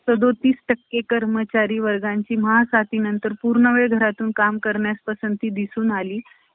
याशिवाय एक महत्वाची गोष्ट म्हणजे अण्णाची कोणतीही कृती लोकां सांगे ब्राम्ह~ ब्राम्हज्ञान अश्या स्वरूपाची नव्हती. त्यांनी स्वतः आपल्या बचतीतून,